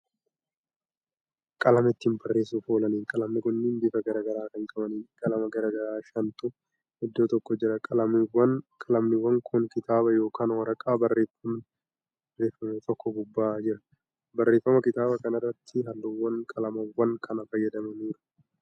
Qalama ittiin barreessuuf oolaniidha. qalamni kunniin bifa garagaraa Kan qabaniidha. qalama garagaraa shanitu iddoo tokko jira. qalamniwwan Kuni kitaaba yookaan waraqaa barraaffamni irraatti barreeffame tokko gubbaa jira. barreeffama kitaaba kanaarratti halluuwwan qalamawwan kanaa fayyadamaniiru.